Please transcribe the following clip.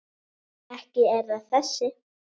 Ekki er það þessi.